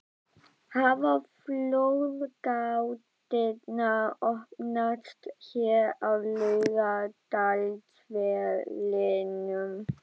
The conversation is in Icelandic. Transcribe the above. Hafa flóðgáttirnar opnast hér á Laugardalsvellinum??